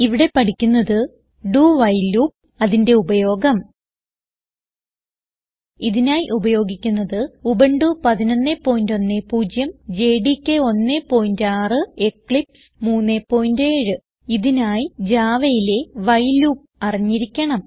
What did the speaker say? ഇവിടെ പഠിക്കുന്നത് do while loop അതിന്റെ ഉപയോഗം ഇതിനായി ഉപയോഗിക്കുന്നത് ഉബുന്റു 1110 ജെഡികെ 16 എക്ലിപ്സ് 37 ഇതിനായി Javaയിലെ വൈൽ ലൂപ്പ് അറിഞ്ഞിരിക്കണം